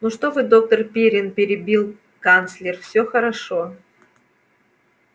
ну что вы доктор пиренн перебил канцлер все хорошо